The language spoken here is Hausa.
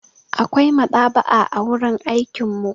Akwai maɗaba'a a wurin aikin mu.